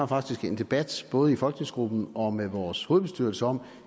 faktisk har en debat i både folketingsgruppen og med vores hovedbestyrelse om